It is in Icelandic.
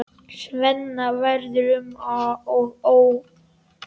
Svenna verður um og ó.